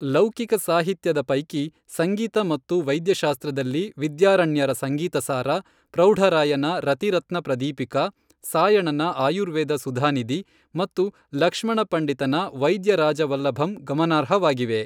ಲೌಕಿಕ ಸಾಹಿತ್ಯದ ಪೈಕಿ, ಸಂಗೀತ ಮತ್ತು ವೈದ್ಯಶಾಸ್ತ್ರದಲ್ಲಿ ವಿದ್ಯಾರಣ್ಯರ ಸಂಗೀತಸಾರ, ಪ್ರೌಢ ರಾಯನ ರತಿರತ್ನಪ್ರದೀಪಿಕಾ, ಸಾಯಣನ ಆಯುರ್ವೇದ ಸುಧಾನಿಧಿ ಮತ್ತು ಲಕ್ಷ್ಮಣ ಪಂಡಿತನ ವೈದ್ಯರಾಜವಲ್ಲಭಂ ಗಮನಾರ್ಹವಾಗಿವೆ.